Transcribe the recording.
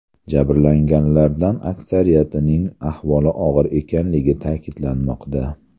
Jabrlanganlardan aksariyatining ahvoli og‘ir ekanligi ta’kidlanmoqda.